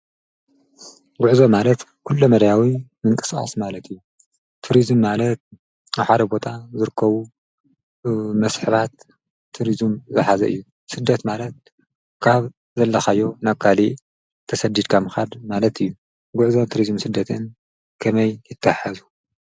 ጉዕዞ ማለት ኩለ መዳያዊ ምንቅስቃስ ማለት እዩ። ቱሪዝም ማለት ኣብ ሓደ ቦታ ዝርከቡ መስሕባት ቱሪዝም ዝሓዘ እዩ። ስደት ማለት ካብ ዘለኻዮ ናብ ካልእ ተሰዲድካ ምኻድ ማለት እዩ። ጉዕዞን ቱሪዝምን ስደትን ከመይ ይታሓሓዙ?